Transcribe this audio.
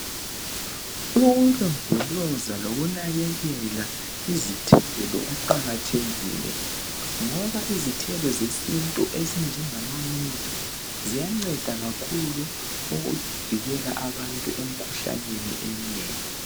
Ukulondoloza lokunakekela izithelo kuqakathekile ngoba izithelo zesintu ezinjengama mint ziyanceda kakhulu ukuvikela abantu emkhuhlaneni emnengi.